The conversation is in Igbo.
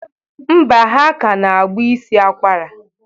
Mba, ha kana agba isi akwara.